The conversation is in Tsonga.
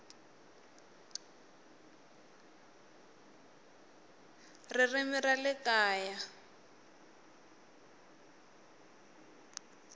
ririmi ra le kaya hl